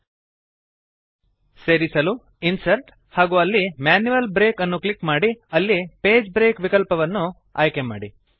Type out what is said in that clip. ಸೇರಿಸಲು ಇನ್ಸರ್ಟ್ ಹಾಗೂ ಅಲ್ಲಿ ಮ್ಯಾನ್ಯುಯಲ್ ಬ್ರೇಕ್ ಅನ್ನು ಕ್ಲಿಕ್ ಮಾಡಿ ಅಲ್ಲಿ ಪೇಜ್ ಬ್ರೇಕ್ ವಿಕಲ್ಪವನ್ನು ಆಯ್ಕೆಮಾಡಿ